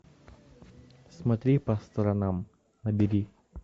смотри по сторонам набери